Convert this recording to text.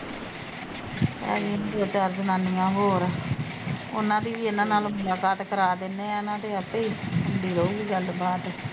ਅਵੇ ਈ ਦੋ ਚਾਰ ਜਨਾਨੀਆਂ ਹੋਰ ਉਹਨਾਂ ਦੀ ਵੀ ਇਹਨਾਂ ਨਾਲ਼ ਮੁਲਾਕਾਤ ਕਰਾ ਦਿੰਦੇ ਆ ਇਹਨਾਂ ਦੇ ਆਪੇ ਹੁੰਦੀ ਰਹੂਗੀ ਗੱਲ ਬਾਤ